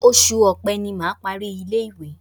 Oṣù Ọpẹ́ ni mà á parí ilé-ìwé.